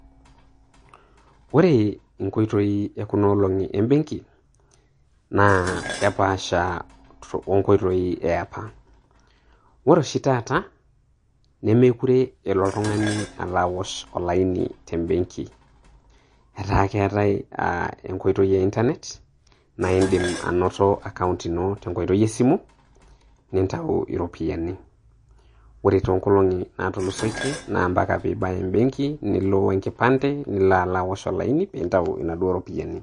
Ore inkoitoi e kuna olong'i embeng'i naa kepaasha o nkoitoi e apa. Ore oshi taata nemekure elo oltung'ani alo aaosh olaini te mbeng'i. etaa keetai inkoitoi e internet naa kiindim ainoto akaount ino tenkoitoi e simu nintayu iroopiani, ore too ng'olong'i naataulusoitie naa mpaka pii ibaya embeg'i, nilo we nkipande, nilo ala aosh olaini pee intayu naduo ropiani.